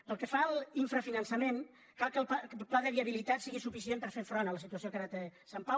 pel que fa al infrafinançament cal que el pla de via·bilitat sigui suficient per fer front a la situació que ara té sant pau